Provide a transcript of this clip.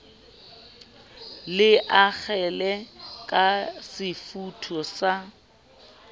le akgele ka sefutho sa